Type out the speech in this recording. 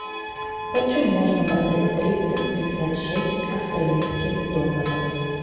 почем можно продать триста пятьдесят шесть австралийских долларов